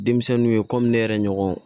Denmisɛnninw ye ne yɛrɛ ɲɔgɔn